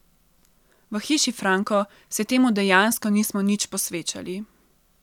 V Hiši Franko se temu dejansko nismo nič posvečali.